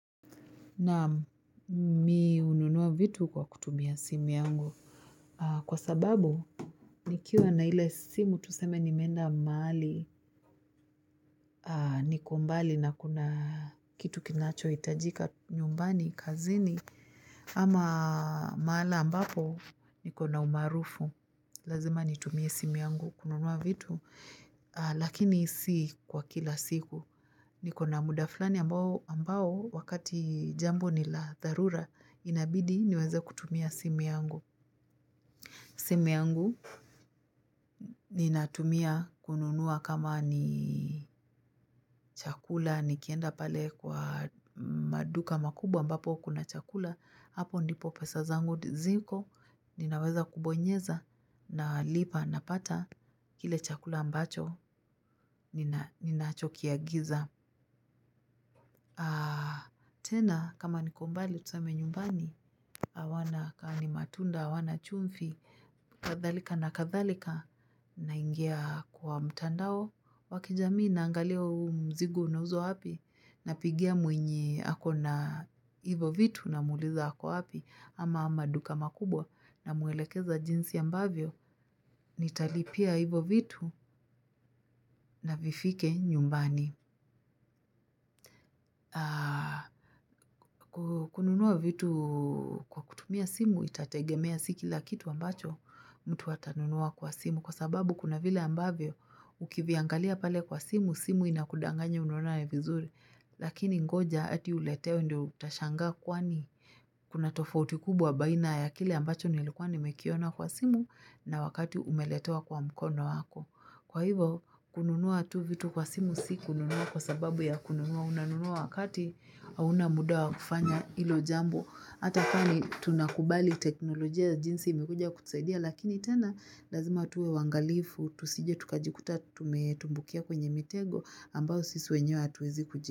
Naam, mi hununua vitu kwa kutumia simu yangu kwa sababu nikiwa na ile simu tuseme nimeenda mahali niko mbali na kuna kitu kinachohitajika nyumbani kazini ama mahala ambapo iko na umaarufu. Lazima nitumie simu yangu kununua vitu, lakini si kwa kila siku. Niko na muda fulani ambao wakati jambo ni la dharura, inabidi niweze kutumia simu yangu. Simu yangu ninatumia kununua kama ni chakula, nikienda pale kwa maduka makubwa ambapo kuna chakula, hapo ndipo pesa zangu ziko, ninaweza kubonyeza nalipa napata kile chakula ambacho ninacho kiagiza. Tena kama niko mbali tuseme nyumbani hawana kaa ni matunda hawana chumvi, kadhalika na kadhalika naingia kwa mtandao wa kijamii naangalia huu mzigo unauzwa wapi, napigia mwenye ako na hivyo vitu namuuliza ako wapi, ama maduka makubwa, namuelekeza jinsi ambavyo nitalipia hivyo vitu. Na vifike nyumbani. Kununua vitu kwa kutumia simu itategemea, si kila kitu ambacho mtu atanunua kwa simu. Kwa sababu kuna vile ambavyo ukiviangalia pale kwa simu, simu inakudanganya unaona ni vizuri. Lakini ngoja hadi uletewe ndio utashangaa kwani Kuna tofauti kubwa baina ya kile ambacho nilikuwa nimekiona kwa simu, na wakati umeletewa kwa mkono wako Kwa hivo kununua tu vitu kwa simu si kununua kwa sababu ya kununua. Unanunua wakati hauna muda wa kufanya hilo jambo. Hata kaa ni tunakubali teknolojia jinsi imekuja kutusaidia Lakini tena lazima tuwe waangalifu, tusije tukajikuta tumetumbukia kwenye mitego ambayo sisi wenyewe hatuwezi kuji.